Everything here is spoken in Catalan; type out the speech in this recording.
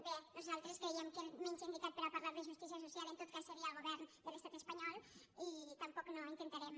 bé nosaltres creiem que el menys indicat per a parlar de justícia social en tot cas seria el govern de l’estat espanyol i tampoc no intentarem